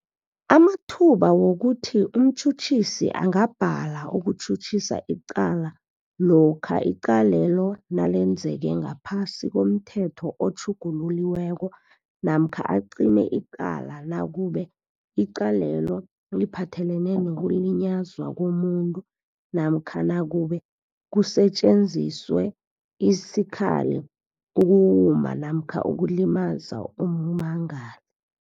amathuba wokuthi umtjhutjhisi angabhala ukutjhutjhisa icala lokha icalelo nalenzeke ngaphasi komThetho otjhugululiweko namkha acime icala nakube icalelo liphathelene nokulinyazwa komunye namkha nakube kusetjenziswe isikhali ukuwuma namkha ukulimaza ummangali.